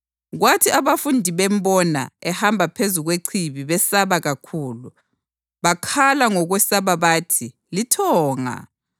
Kwathi abafundi bembona ehamba phezu kwechibi besaba kakhulu. Bakhala ngokwesaba bathi, “Lithonga.”